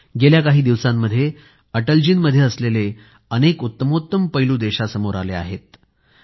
गेल्या काही दिवसांमध्ये अटलजींमध्ये असलेले उत्तमोत्तम पैलू देशासमोर आले आहेतच